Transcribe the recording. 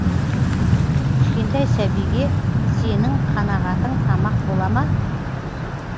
кішкентай сәбиге сенің қанағатың тамақ бола ма